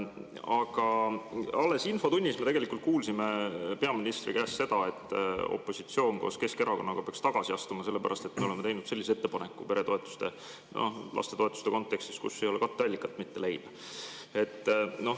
Aga alles infotunnis me tegelikult kuulsime peaministri käest seda, et opositsioon koos Keskerakonnaga peaks tagasi astuma, sellepärast et me oleme teinud sellise ettepaneku peretoetuste ja lastetoetuste kontekstis, kus ei ole katteallikat leida.